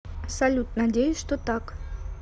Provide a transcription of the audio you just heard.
салют надеюсь что так